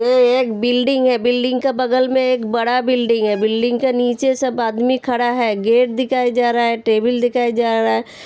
ये एक बिल्डिंग है बिल्डिंग का बगल में एक बड़ा बिल्डिंग है। बिल्डिंग के नीचे सब आदमी खड़ा है गेट दिखाया जा रहा है टेबल दिखाया जा रहा है।